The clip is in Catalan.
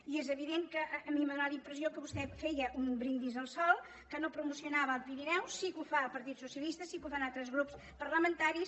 i és evident que a mi m’ha donat la impressió que vostè feia un brindis al sol que no promocionava els pirineus sí que ho fa el partit socialista sí que ho fan altres grups parlamentaris